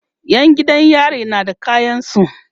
Yan gidan yari na da kayansu